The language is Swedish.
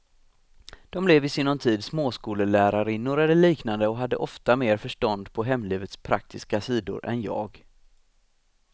Dom blev i sinom tid småskollärarinnor eller liknande och hade ofta mer förstånd på hemlivets praktiska sidor än jag.